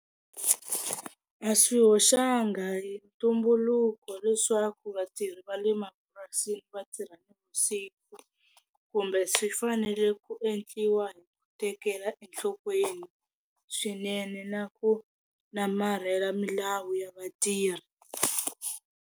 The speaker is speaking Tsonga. A swi hoxanga hi ntumbuluko leswaku vatirhi va le mapurasini va tirha na vusiku kumbe swi fanele ku endliwa hi ku tekela enhlokweni swinene na ku namarhela milawu ya vatirhi.